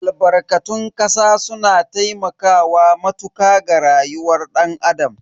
Albarkatun kasa suna taimakawa matuka ga rayuwar dan Adam.